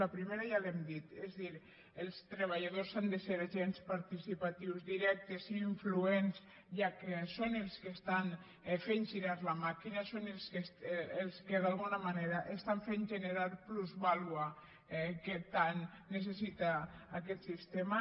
la primera ja l’hem dit és a dir els treballadors han de ser agents participatius directes i influents ja que són els que estan fent girar la màquina són els que d’alguna manera estan fent generar plusvàlua que tant necessita aquest sistema